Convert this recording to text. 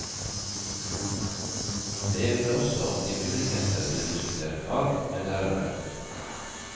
Det vil også bli muligheter til å diskutere fag med lærere.